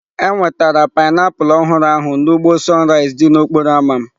E nwetara painiapulu ọhụrụ ahụ n'ugbo Sunrise dị n'okporo ámá m.